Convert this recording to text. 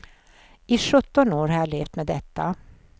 I sjutton år har jag levt med detta.